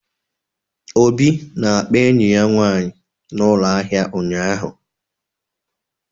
Obi na-akpa enyi ya nwanyị na ụlọ ahịa ụnyahụ